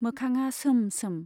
मोखांआ सोम सोम।